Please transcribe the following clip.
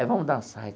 Vamos dançar.